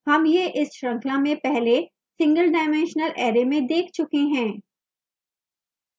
हम यह इस श्रृंखला में पहले singledimensional array में देख चुके हैं